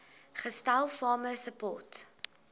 gestel farmer support